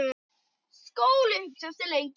Skúli hugsaði sig lengi um.